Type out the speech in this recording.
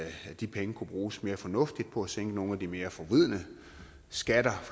de penge kunne bruges mere fornuftigt på at sænke nogle af de mere forvridende skatter